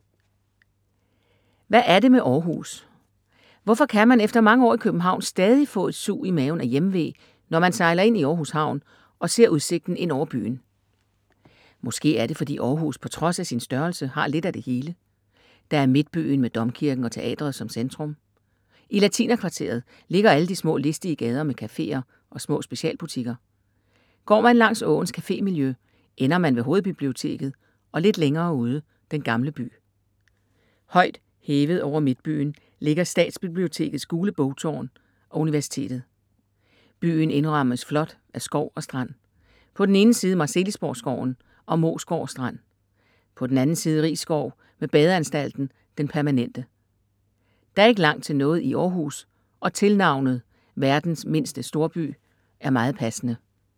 Hvad er det med Århus? Hvorfor kan man efter mange år i København stadig få et sug i maven af hjemve, når man sejler ind i Århus havn og ser udsigten ind over byen? Måske er det fordi Århus på trods af sin størrelse har lidt af det hele. Der er midtbyen med domkirken og teatret som centrum. I latinerkvarteret ligger alle de små listige gader med cafeer og små specialbutikker. Går man langs åens cafemiljø ender man ved hovedbiblioteket og lidt længere ude Den Gamle By. Højt hævet over midtbyen ligger Statsbibliotekets gule bogtårn og universitetet. Byen indrammes flot af skov og strand. På den ene side Marselisborg skoven og Moesgård strand. På den anden side Riisskov med badeanstalten Den permanente. Der er ikke langt til noget i Århus og tilnavnet Verdens mindste storby er meget passende.